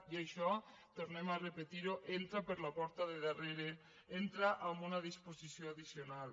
i això tornem a repetir ho entra per la porta de darrere entra amb una disposició addicional